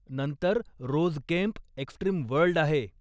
नंतर rose camp, extreme world आहे.